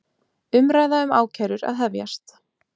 Umræða um ákærur að hefjast